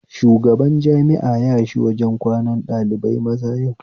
Shubagan jami'a yashi wajen kwanan ɗalibai maza yau